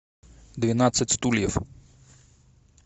двенадцать стульев